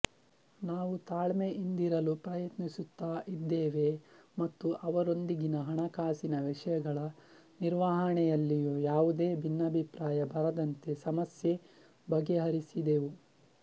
ನಾವು ತಾಳ್ಮೆಯಿಂದಿರಲು ಪ್ರಯತ್ನಿಸುತ್ತಾ ಇದ್ದೇವೆ ಮತ್ತು ಅವರೊಂದಿಗಿನ ಹಣಕಾಸಿನ ವಿಷಯಗಳ ನಿರ್ವಹಣೆಯಲ್ಲಿಯೂ ಯಾವುದೇ ಭಿನ್ನಾಭಿಪ್ರಾಯ ಬರದಂತೆ ಸಮಸ್ಯೆ ಬಗೆಹರಿಸಿದೆವು